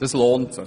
Es lohnt sich.